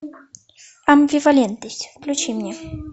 амбивалентность включи мне